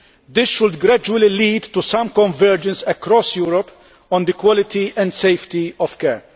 This should gradually lead to some convergence across Europe on the quality and safety of care.